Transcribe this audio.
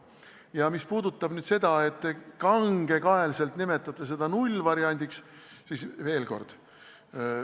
Ja mis puudutab nüüd seda, et te kangekaelselt nimetate seda nullvariandiks, siis veel kord ...